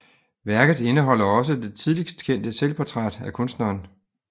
Værket indeholder også det tidligst kendte selvportræt af kunstneren